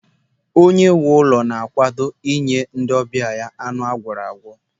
Onye nwe ụlọ na-akwado inye ndị ọbịa ya anụ agwọrọ agwọ.